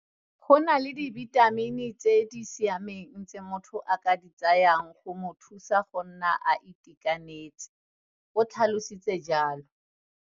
Go na gape le dibitamini tse di siameng tse motho a ka di tsayang go mo thusa go nna a itekanetse, o tlhalositse jalo.